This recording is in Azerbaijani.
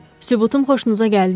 Sübutum xoşunuza gəldimi?